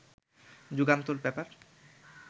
Jugantor paper